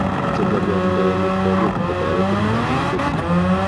chop oleamdai amitwogik kotoretin kanyaindet nguung